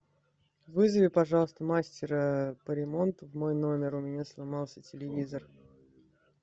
вызови пожалуйста мастера по ремонту в мой номер у меня сломался телевизор